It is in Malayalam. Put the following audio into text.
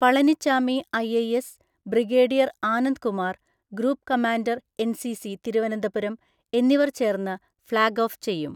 Palaniswami IIS, brigadier Anand Kumar group commander NCC Thiruvananthapuram എന്നിവർ ചേർന്ന് ഫ്ലാഗ് ഓഫ് ചെയ്യും.